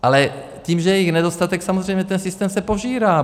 Ale tím, že je jich nedostatek, samozřejmě ten systém se požírá.